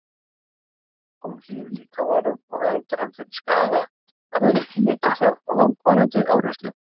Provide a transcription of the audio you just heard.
Hún hlífir líkamanum og verndar hann fyrir skaða af völdum mikillar og langvarandi áreynslu.